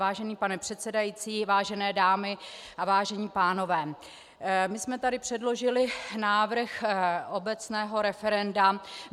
Vážený pane předsedající, vážené dámy a vážení pánové, my jsme tady předložili návrh obecného referenda.